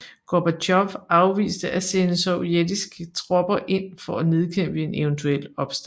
Gorbatjov afviste at sende sovjetiske tropper ind for at nedkæmpe en eventuel opstand